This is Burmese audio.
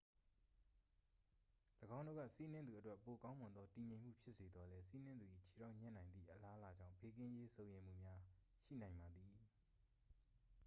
၎င်းတို့က စီးနင်းသူအတွက် ပိုကောင်းမွန်သော တည်ငြိမ်မှု ဖြစ်စေသော်လည်း စီးနင်းသူ၏ ခြေထောက်ညှပ်နိုင်သည့် အလားအလာကြောင့် ဘေးကင်းရေး စိုးရိမ်မှုများ ရှိနိုင်ပါသည်